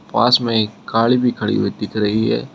पास में एक गाड़ी भी खड़ी हुई दिख रही है।